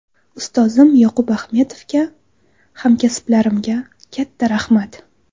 Ustozim Yoqub Axmedovga, hamkasblarimga katta rahmat.